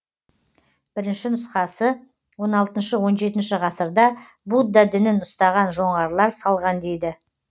бірінші нұсқасы он алтыншы он жетінші ғасырда будда дінін ұстаған жоңғарлар салған дейді